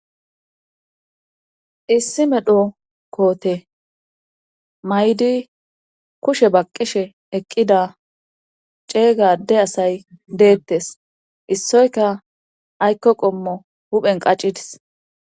Issi medho koote maydi kushe baqqishe eqqida ceeygade asay deettes issoyka aykko qommo huphen qaccidis